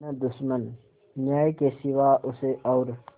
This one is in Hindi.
न दुश्मन न्याय के सिवा उसे और